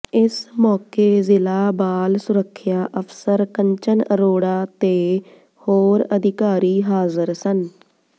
ਇਸ ਮੌਕੇ ਜ਼ਿਲ੍ਹਾ ਬਾਲ ਸੁਰੱਖਿਆ ਅਫ਼ਸਰ ਕੰਚਨ ਅਰੋੜਾ ਤੇ ਹੋਰ ਅਧਿਕਾਰੀ ਹਾਜ਼ਰ ਸਨ